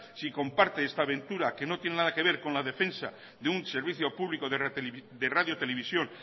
si comparte esta aventura que no tiene nada que ver con la defensa de un servicio público de radio televisión